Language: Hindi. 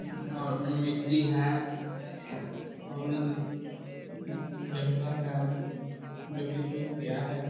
और मिट्टी है और उधर जंगल है जो कि सुख गया है।